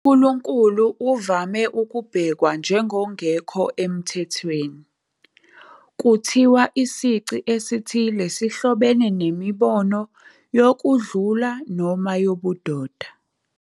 UNkulunkulu uvame ukubhekwa njengongekho emthethweni, kuthiwa isici esithile sihlobene nemibono yokudlula noma yobudoda.